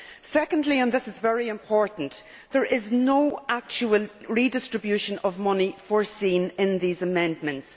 Secondly and this is very important there is no actual redistribution of money provided for in these amendments.